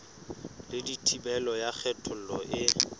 le thibelo ya kgethollo e